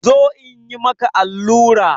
Zo in yi maka allura!